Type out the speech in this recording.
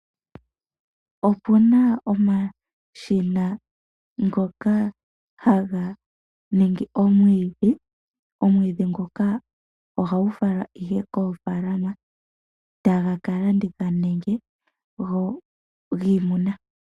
Opuna omashina ngoka haga ningi omwidhi, omwidhi ngoka ohagu falwa koofaalama tagu kalandithwa nenge gwiimuna.